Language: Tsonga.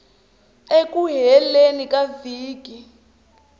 eku heleni ka vhiki rin